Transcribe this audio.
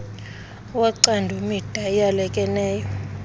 wocando mida eyalekeneyo